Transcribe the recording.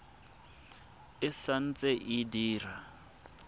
e sa ntse e dira